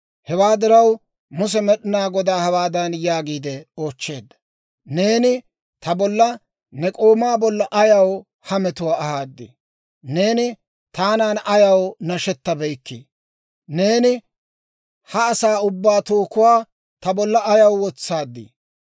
Hewaa diraw, Muse Med'inaa Godaa hawaadan yaagiide oochcheedda; «Neeni ta bolla ne k'oomaa bolla ayaw ha metuwaa ahaadii? Neeni taanan ayaw nashetabeykkii? Neeni ha asaa ubbaa tookuwaa ta bolla ayaw wotsaaddii?